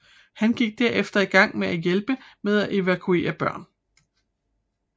Han gik derefter i gang med at hjælpe med at evakuere børn